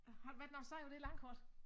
Har du været nogen steder på det landkort?